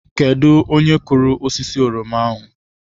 Kedu onye kụrụ osisi oroma ahụ?